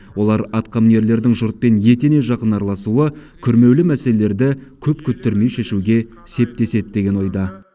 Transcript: олар атқамінерлердің жұртпен етене жақын араласуы күрмеулі мәселелерді көп күттірмей шешуге септеседі деген ойда